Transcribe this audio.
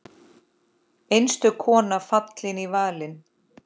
Einstök kona fallin í valinn.